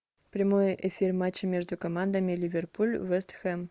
прямой эфир матча между командами ливерпуль вест хэм